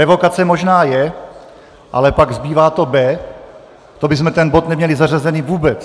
Revokace možná je, ale pak zbývá to B, to bychom ten bod neměli zařazený vůbec.